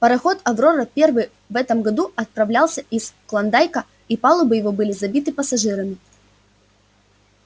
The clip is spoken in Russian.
пароход аврора первый в этом году отправлялся из клондайка и палубы его были забиты пассажирами